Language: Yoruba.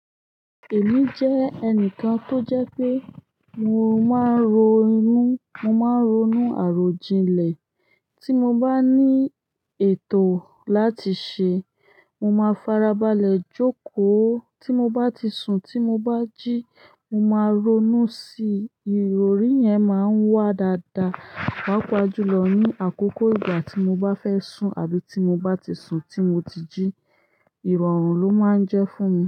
Èmi jẹ́ ẹnìkan tó jẹ́ pé mo máa ń ro imú, mo máa ń ronú àròjinlẹ̀. Tí mo bá ní ètò láti ṣe, mo máa farabalẹ̀ jókòó. Tí mo bá ti sùn, tí mo bá jí, mo máa ronú sí ìrọ̀rí yẹn máa ń wá dáadáa. Pápá júlọ ní àkókò ìgbà tí mo bá fẹ́ sùn àbí tí mo bá ti sùn, tí mo ti jí, ìrọ̀rùn ló máa ń jẹ́ fún mi.